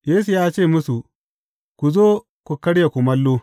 Yesu ya ce musu, Ku zo ku karya kumallo.